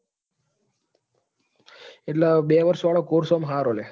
એટલે બે વર્ષ વાળો course સારો લ્યા.